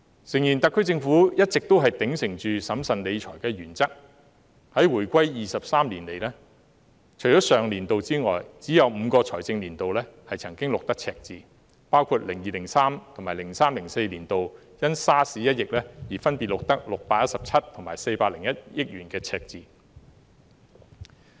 誠然，特區政府一直都秉承審慎理財的原則，回歸23年以來，除了上年度外，只有5個財政年度曾經錄得赤字，包括 2002-2003 年度及 2003-2004 年度因 SARS 一役而分別錄得617億元及401億元的赤字。